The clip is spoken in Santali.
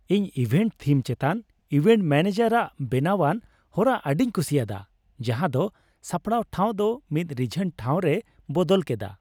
ᱤᱧ ᱤᱵᱷᱮᱱᱴ ᱛᱷᱤᱢ ᱪᱮᱛᱟᱱ ᱤᱵᱷᱮᱱᱴ ᱢᱮᱱᱮᱡᱟᱨᱟᱜ ᱵᱮᱱᱟᱣᱟᱱ ᱦᱚᱨᱟ ᱟᱹᱰᱤᱧ ᱠᱩᱥᱤᱭᱟᱫᱟ, ᱡᱟᱦᱟᱸᱭ ᱫᱚ ᱥᱟᱯᱲᱟᱣ ᱴᱷᱟᱶ ᱫᱚ ᱢᱤᱫ ᱨᱤᱡᱷᱟᱱ ᱴᱷᱟᱶ ᱨᱮᱭ ᱵᱚᱫᱚᱞ ᱠᱮᱫᱟ ᱾